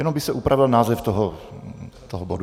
Jenom by se upravil název toho bodu.